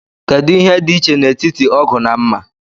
Kedu ihe dị iche n'etiti ógù na mmà?